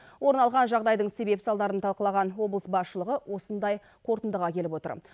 орын алған жағдайдың себеп салдарын талқылаған облыс басшылығы осындай қорытындыға келіп отыр